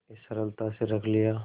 इस सरलता से रख लिया